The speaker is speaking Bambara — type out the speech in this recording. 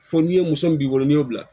Fo n'i ye muso min b'i bolo n'i y'o bila